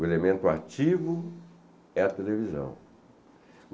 O elemento ativo é a televisão.